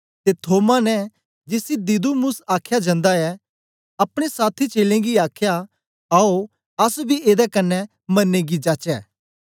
ते थोमा ने जिसी दिदुमुस आख्या जंदा ऐ अपने साथी चेलें गी आखया आओ अस बी एदे कन्ने मरने गी जाचै